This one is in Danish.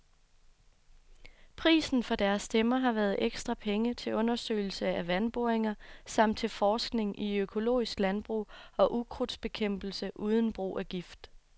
Prisen for deres stemmer har været ekstra penge til undersøgelser af vandboringer samt til forskning i økologisk landbrug og ukrudtsbekæmpelse uden brug af gift.